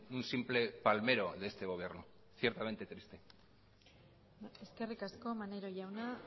un simple palmero de este gobierno ciertamente triste eskerrik asko maneiro jauna